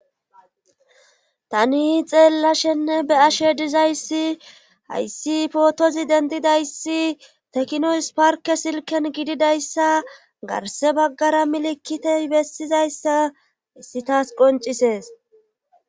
tani xeellashenne be ashe dizayssi hayssi pootozi dendidayssi tekinoys parke silken gididayssa garse baggara milikitey bessizayssa hissi taas qoncisees